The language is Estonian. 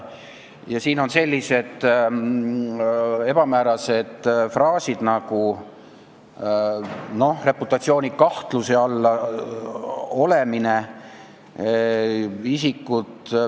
Siin on selline ebamäärane fraas nagu "laitmatu reputatsiooni olemasolu kahtluse alla seadmine".